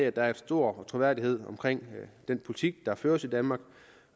at der er stor troværdighed omkring den politik der føres i danmark